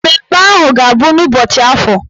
Mmemme ahụ a ga-abụ n'ụbọchị Afọ?